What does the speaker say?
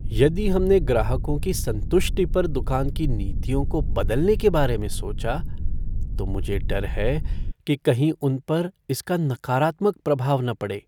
यदि हमने ग्राहकों की संतुष्टि पर दुकान की नीतियों को बदलने के बारे में सोचा तो मुझे डर है कि कहीं उन पर इसका नकारात्मक प्रभाव न पड़े।